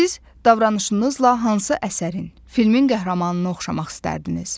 Siz davranışınızla hansı əsərin, filmin qəhrəmanına oxşamaq istərdiniz?